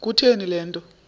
kutheni le nto